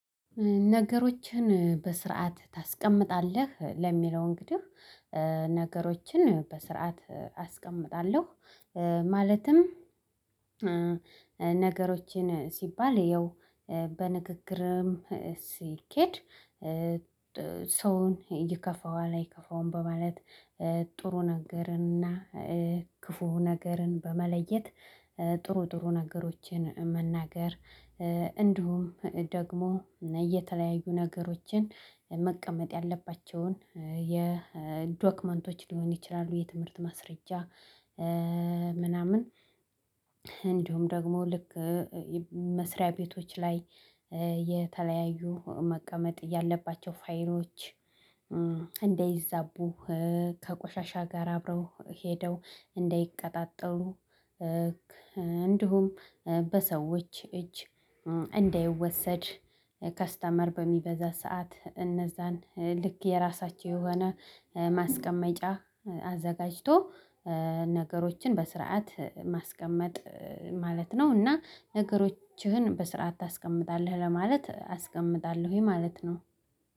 ነገሮችን በስርዓት ታስቀምጣለህ ለሚለው እንግዲህ ነገሮችን በስርዓት አስቀምጣለሁ ማለትም ነገሮችን ሲባል ያው በንግግርም ሲኬድ። ሰውን ይከፋዋል አይከፋውም በማለት ጥሩ ነገርን እና ክፉ ነገርን በመለየት ጥሩ ጥሩ ነገሮችን መናገር። እንዲሁም ደግሞ እና እየተለያዩ ነገሮችን መቀመጥ ያለባቸውን የዶክመንቶች ሊሆን ይችላሉ የትምህርት ማስረጃ ምናምን። እንዲሁም ደግሞ ልክ መስሪያ ቤቶች ላይ የተለያዩ መቀመጥ ያለባቸው ፋይሎች እንደይዛቡ ከቆሻሻ ጋር አብረው ሄደው እንደይቀጣጠሉ። እንዲሁም በሰዎች እጅ እንዳይወሰድ ከስተመር በሚበዛ ሰዓት እነዛን ልክ የራሳቸው የሆነ ማስቀመጫ አዘጋጅቶ ነገሮችን በስርዓት ማስቀመጥ ማለት ነው። እና ነገሮችህን በስርዓት ታስቀምጣለህ ለማለት አስቀምጣለሁኝ ማለት ነው።